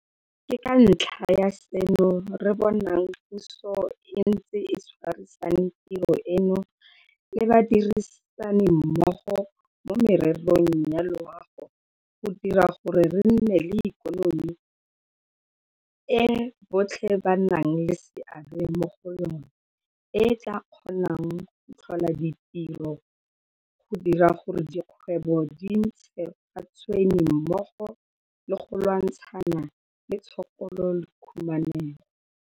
Ke ka ntlha ya seno re bonang puso e ntse e tshwarisane tiro eno le badirisanimmogo mo mererong ya loago go dira gore re nne le ikonomi e botlhe ba nang le seabe mo go yona, e e tla kgonang go tlhola ditiro, go dira gore dikgwebo di ntshe ga tshwene mmogo le go lwantshana le tshokolo le khumanego.